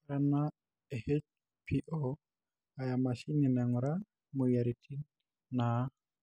ore ena HPO aa emashini nainguraa imoyiaritin naa